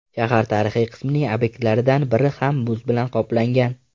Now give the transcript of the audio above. Shahar tarixiy qismining obyektlaridan biri ham muz bilan qoplangan.